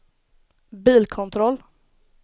bilkontroll